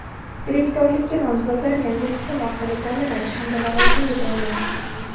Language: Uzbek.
direktorlikka nomzodlar yangi tizim orqali tanlanadi hamda lavozimga tayinlanadi.